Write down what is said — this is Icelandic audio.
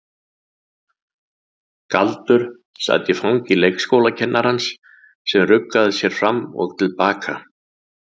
Galdur sat í fangi leikskólakennarans sem ruggaði sér fram og til baka.